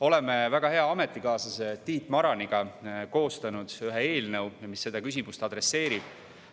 Olen koos väga hea ametikaaslase Tiit Maraniga koostanud ühe eelnõu, mis seda küsimust adresseerib.